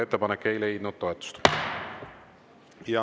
Ettepanek ei leidnud toetust.